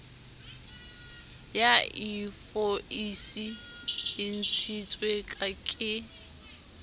ya invoisi e ntshitswe ke